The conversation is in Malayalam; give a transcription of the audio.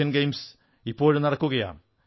ഏഷ്യൻ ഗെയിംസ് ഇപ്പോഴും നടക്കുകയാണ്